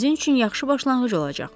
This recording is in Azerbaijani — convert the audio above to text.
Sizin üçün yaxşı başlanğıc olacaq.